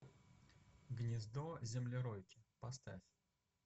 гнездо землеройки поставь